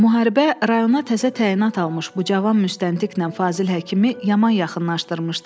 Müharibə rayona təzə təyinat almış bu cavan müstəntiqnən Fazil həkimi yaman yaxınlaşdırmışdı.